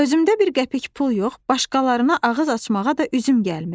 Özümdə bir qəpik pul yox, başqalarına ağız açmağa da üzüm gəlmir.